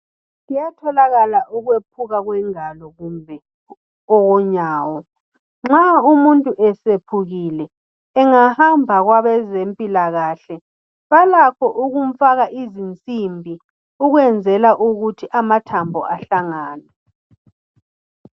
Kuyatholakala ukwephuka kwengalo lonyawo nxa umuntu eseqamukile engahamba kwabezempilakahle balakho ukumfaka izinsimbi ukwenzela ukuthi amathambo ahlangane